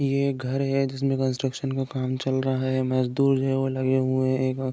ये एक घर है। जिसमे कंस्ट्रकशन का काम चल रहा है। मजदूर जो है वो लगे हुएं है। ए-घ --